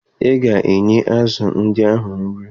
Ị ga-enye azụ ndị ahụ nri!